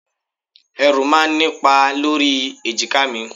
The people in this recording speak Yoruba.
Ẹrù máa ń nipa lórí èjìká mi.